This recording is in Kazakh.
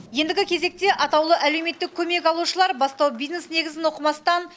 ендігі кезекте атаулы әлеуметтік көмек алушылар бастау бизнес негізін оқымастан